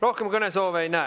Rohkem kõnesoove ei näe.